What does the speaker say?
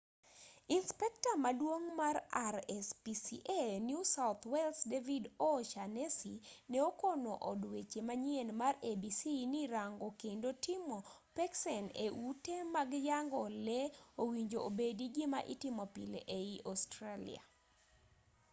inspekta maduong' mar rspca new south wales david o'shannessy ne okono od weche manyien mar abc ni rango kendo timo peksen e ute mag yang'o lee owinjo obedi gima itimo pile ei australia